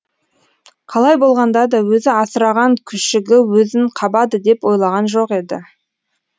қалай болғанда да өзі асыраған күшігі өзін қабады деп ойлаған жоқ еді